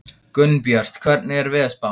Gunnbjört, hvernig er veðurspáin?